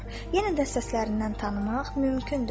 Yenə də səslərindən tanımaq mümkündür.